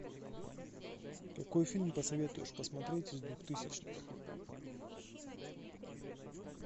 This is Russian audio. какой фильм посоветуешь посмотреть из двухтысячных